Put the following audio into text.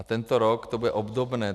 A tento rok to bude obdobné.